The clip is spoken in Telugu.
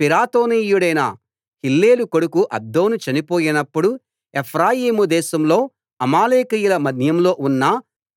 పిరాతోనీయుడైన హిల్లేలు కొడుకు అబ్దోను చనిపోయినప్పుడు ఎఫ్రాయిము దేశంలో అమాలేకీయుల మన్యంలో ఉన్న